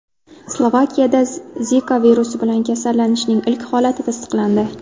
Slovakiyada Zika virusi bilan kasallanishning ilk holati tasdiqlandi.